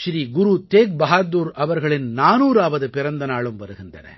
ஸ்ரீ குரு தேக்பஹாதுர் அவர்களின் 400அவது பிறந்த நாளும் வருகின்றன